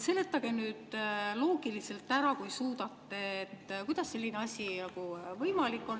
Seletage nüüd loogiliselt ära, kui suudate, kuidas selline asi võimalik on.